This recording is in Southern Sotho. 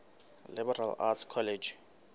liberal arts college